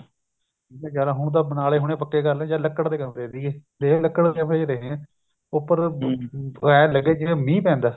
ਜਦ ਹੁਣ ਤਾਂ ਬਣਾਲੇ ਹੁਣ ਉਹ ਪੱਕੇ ਕਰਲੇ ਜਦ ਲੱਕੜ ਦੇ ਕਮਰੇ ਸੀਗੇ ਲੱਕੜ ਦੇ ਕਮਰੇ ਚ ਰਹੇ ਹਾਂ ਉੱਪਰ ਏਵੇਂ ਲੱਗੇ ਜਿਵੇਂ ਮੀਹ ਪੈਂਦਾ